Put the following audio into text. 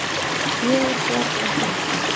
Ég er bjargvættur okkar.